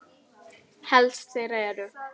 Helst þeirra eru